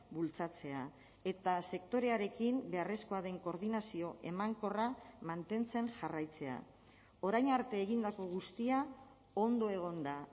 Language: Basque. bultzatzea eta sektorearekin beharrezkoa den koordinazio emankorra mantentzen jarraitzea orain arte egindako guztia ondo egon da